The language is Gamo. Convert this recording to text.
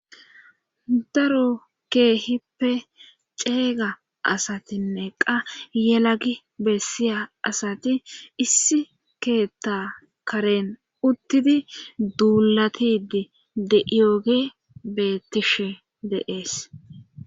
daro keehippe ceega asatinneqqa yelagi bessiya asati issi keetta karen uttidi duulatidi de7iyoge bettishe de'es